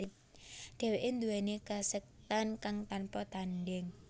Dheweke nduweni kasekten kang tanpa tandhing